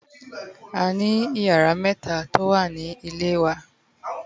A ni iyara meta to wa Nile ni Ile wa